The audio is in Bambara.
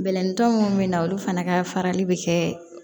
Bɛlɛnintɔ minnu bɛ na olu fana ka farali bɛ kɛ